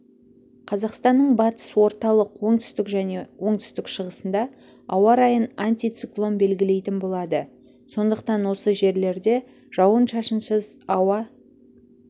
қазақстанның батыс орталық оңтүстік және оңтүстік-шығысында ауа райын антициклон белгілейтін болады сондықтан осы жерлерде жауын-шашынсыз ауа